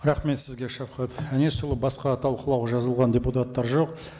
рахмет сізге шавқат әнесұлы басқа талқылауға жазылған депутаттар жоқ